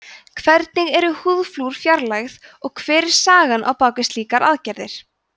hvernig eru húðflúr fjarlægð og hver er sagan á bak við slíkar aðgerðir